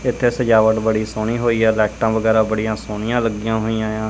ਇੱਥੇ ਸਜਾਵਟ ਬੜੀ ਸੋਹਣੀ ਹੋਈ ਆ ਲਾਈਟਾਂ ਵਗੈਰਾ ਬੜੀਆਂ ਸੋਹਣੀਆਂ ਲੱਗੀਆਂ ਹੋਈਆਂ ਏ ਆ।